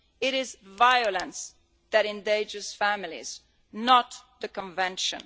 It is violence that endangers families, not the Convention.